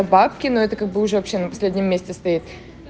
бабки но это как бы уже вообще на последнем месте стоит